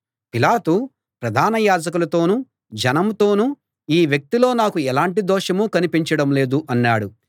పిలాతు ప్రధాన యాజకులతోనూ జనంతోనూ ఈ వ్యక్తిలో నాకు ఎలాంటి దోషమూ కనిపించడం లేదు అన్నాడు